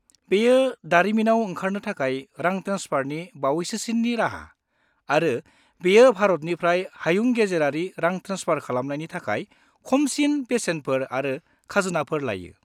बेयो दारिमिनाव ओंखारनो थाखाय रां ट्रेन्सफारनि बावैसोसिननि राहा, आरो बेयो भारतनिफ्राय हायुं-गेजेरारि रां ट्रेन्सफार खालामनायनि थाखाय खमसिन बेसेनफोर आरो खाजोनाफोर लायो।